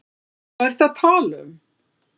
Hvað ertu að tala um?